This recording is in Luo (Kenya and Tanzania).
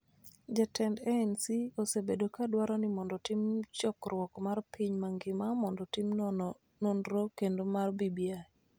Jatend ANC osebedo ka dwaro ni otim chokruok mar piny mangima mondo otim nonro kendo mar BBI.